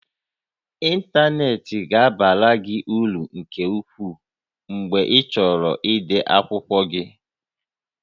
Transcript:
Ịntanetị ga-abara gị uru nke ukwuu mgbe ịchọrọ ide akwụkwọ gị